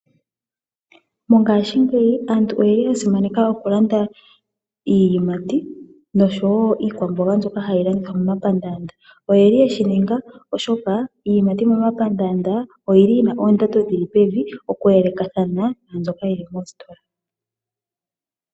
Mongashingeyi aantu oyeli yasimaneka okulanda iiyimati nosho woo iikwamboga mbyoka hayi landithwa momapaandanda oyeli yeshininga oshoka iiyimati momapaandanda oyili yina oondando dhili pevi oku elekathana naambyoka yili moositola.